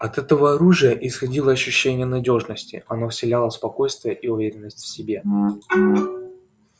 от этого оружия исходило ощущение надёжности оно вселяло спокойствие и уверенность в себе